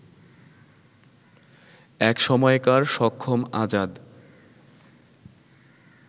একসময়কার সক্ষম আজাদ